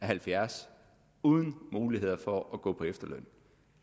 halvfjerds år uden mulighed for at gå på efterløn